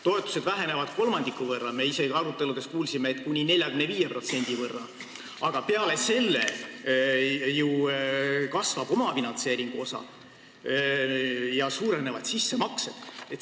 Toetused vähenevad kolmandiku võrra, me aruteludes kuulsime, et isegi kuni 45%, aga peale selle kasvab ju omafinantseeringu osa ja suurenevad sissemaksed.